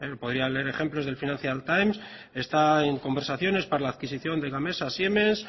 podría leer ejemplos del financial times está en conversaciones para la adquisición de gamesa siemens